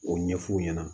O ɲɛf'u ɲɛna